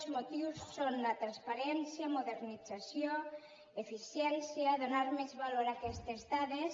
els motius són la transparència modernització eficiència donar més valor a aquestes dades